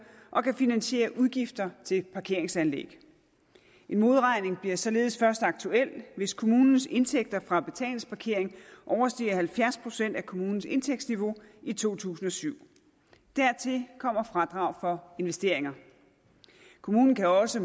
og kan finansiere udgifter til parkeringsanlæg en modregning bliver således først aktuel hvis kommunens indtægter fra betalingsparkering overstiger halvfjerds procent af kommunens indtægtsniveau i to tusind og syv dertil kommer fradrag for investeringer kommunen kan også